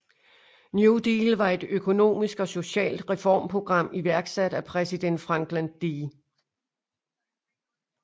New Deal var et økonomisk og socialt reformprogram iværksat af præsident Franklin D